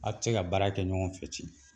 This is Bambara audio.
Aw te se ka baara kɛ ɲɔgɔn fɛ c